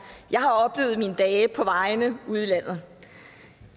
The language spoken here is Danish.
jeg har oplevet af mine dage på vejene ude i landet